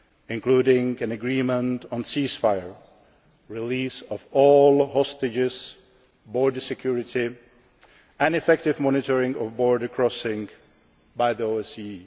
including an agreement on a cease fire, the release of all hostages, border security, and the effective monitoring of border crossings by the